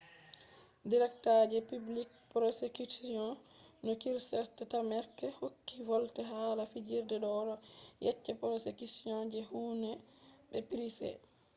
directa je public prosecutiono kierstarmerqc hokki volde hala fajjiri do odo yecca prosecution je huhne be pryce